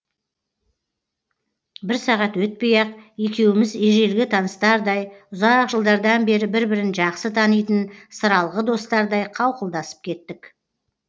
бір сағат өтпей ақ екеуміз ежелгі таныстардай ұзақ жылдардан бері бір бірін жақсы танитын сыралғы достардай қауқылдасып кеттік